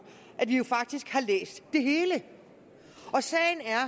at vi jo faktisk har læst det hele og sagen er